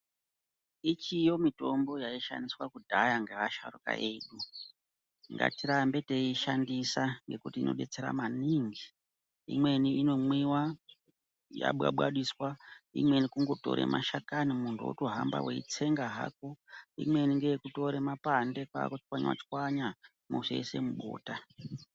Ichiyo mitombo yaishandiswa kudhaya ngeasharuka edu ngatirambe teiishandisa nekuti inobetsera maningi. Imweni inomwiva yababadiswa imweni kungotora mashakani muntu votohamba eitsenga hako. Imweni ngeyekutora mapande kwakutswanya-tswanya mozoise mubota.